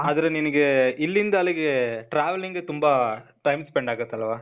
ಆದ್ರೆ ನಿನಿಗೇ, ಇಲ್ಲಿಂದ ಅಲ್ಲಿಗೇ, travelling ಗ್ ತುಂಬಾ time spend ಆಗತ್ತಲ್ವಾ?